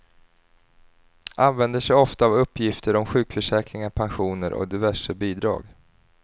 Använder sig ofta av uppgifter om sjukförsäkringar, pensioner och diverse bidrag.